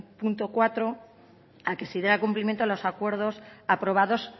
punto a que se diera cumplimiento a los acuerdos aprobados